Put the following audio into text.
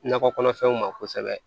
Nakɔ kɔnɔfɛnw ma kosɛbɛ